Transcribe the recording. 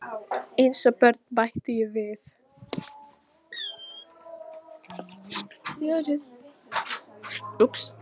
Eins og börn bætti ég við.